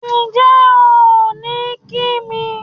Ǹjẹ́ ò ní kí mi?